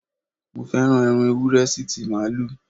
Mo féràn ẹran Ewúré sí ti Màálù.